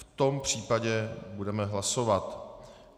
V tom případě budeme hlasovat.